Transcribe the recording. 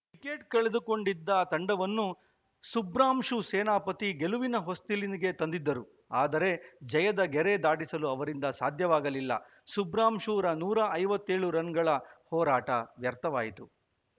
wicket ಕಳೆದುಕೊಂಡಿದ್ದ ತಂಡವನ್ನು ಸುಬ್ರಾಂಶು ಸೇನಾಪತಿ ಗೆಲುವಿನ ಹೊಸ್ತಿಲಿಗೆ ತಂದಿದ್ದರು ಆದರೆ ಜಯದ ಗೆರೆ ದಾಟಿಸಲು ಅವರಿಂದ ಸಾಧ್ಯವಾಗಲಿಲ್ಲ ಸುಬ್ರಾಂಶುರ ನೂರ ಐವತ್ತ್ ಏಳು ರನ್‌ಗಳ ಹೋರಾಟ ವ್ಯರ್ಥವಾಯಿತು